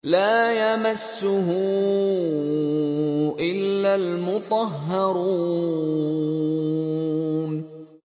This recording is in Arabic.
لَّا يَمَسُّهُ إِلَّا الْمُطَهَّرُونَ